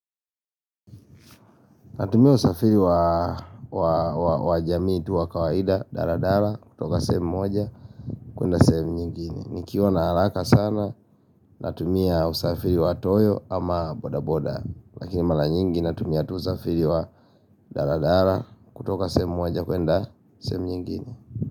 Natumia usafiri wa jamii tu wa kawaida, daladala, kutoka sehemu moja, kuenda sehemu nyingine. Nikiwa na haraka sana, natumia usafiri wa toyo ama boda boda. Lakini mara nyingi natumia usafiri wa daladala, kutoka semu moja, kuenda semu nyingine.